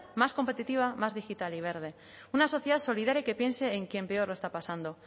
más competitiva más digital y verde una sociedad solidaria y que piense en quien peor lo está pasando